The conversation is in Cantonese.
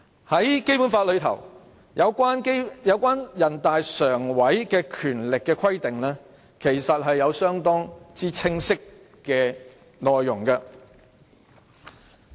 在《基本法》內有關人大常委會的權力的規定，其實相當清晰。